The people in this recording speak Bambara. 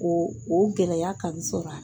O o gɛlɛya ka n sɔrɔ a la.